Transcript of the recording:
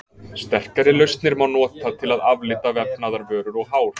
sterkari lausnir má nota til að aflita vefnaðarvörur og hár